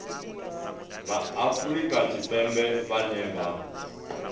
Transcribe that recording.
vha afrika tshipembe vhane vha